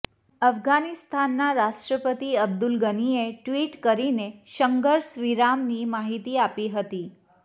અફઘાનિસ્તાનના રાષ્ટ્રપતિ અબ્દુલ ગનીએ ટ્વિટ કરીને સંઘર્ષ વિરામની માહિતી આપી હતી